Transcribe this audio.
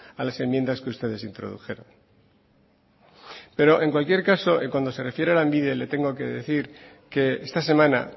a las enmiendas que ustedes introdujeron pero en cualquier caso cuando se refiere a lanbide le tengo que decir que esta semana